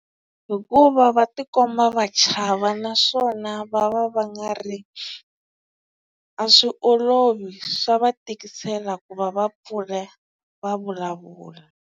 Hikuva va tikomba va chava naswona va va va nga ri a swi olovi swa va tikisela ku va va pfuleka va vulavula.